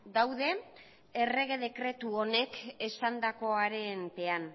daude errege dekretu honek esandakoaren pean